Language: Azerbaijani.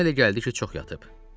ona elə gəldi ki, çox yatıb.